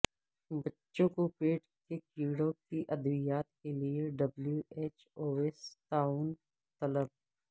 بچوں کوپیٹ کے کیڑوں کی ادویات کیلئے ڈبلیو ایچ اوسے تعاون طلب